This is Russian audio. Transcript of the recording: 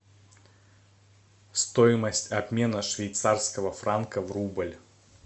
стоимость обмена швейцарского франка в рубль